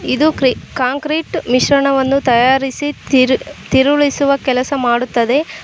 ಇದು ಕ್ರಿ concrete machine ವನ್ನು ತಯಾಸಿರಿ ತಿರ್ ತಿರುಳಿಸುವ ಕೆಲಸ ಮಾಡುತ್ತದೆ.